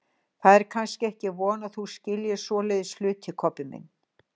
Það er kannski ekki von þú skiljir svoleiðis hluti, Kobbi minn.